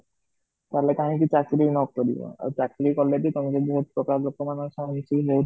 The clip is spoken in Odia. କଲେ କାହିଁକି ଚାକିରି ନକରିବ ଆଉ ଚାକିରି କଲେ ବି ତମେ ବହୁତ ଲୋକ ମାନଙ୍କ ସହ ମିଶିକି ବହୁତ